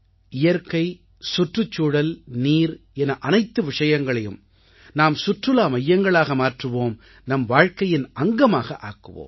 இயற்கை சுற்றுச்சூழல் நீர் என அனைத்து விஷயங்களையும் நாம் சுற்றுலா மையங்களாக மாற்றுவோம் நம் வாழ்க்கையின் அங்கமாக ஆக்குவோம்